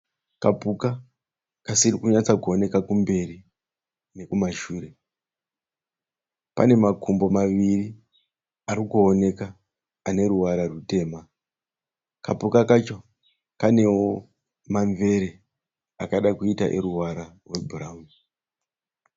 Kapuka kasirikunyatsa kuoneka kumberi nekumashure. Kane makumbo maviri arikuoneka aneruvara rutema. Kapuka kacho kanewo mamvere akada kuita eruvara rwebhurawuni.